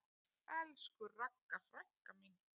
Elsku Ragga frænka mín.